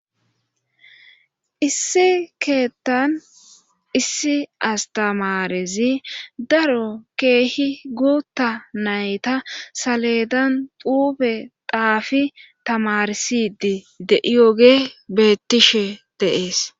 Issi keettan issi astamarezi daro keehi guutta nayta saledan duube daafi tamaresidi deiyoge bettishe deees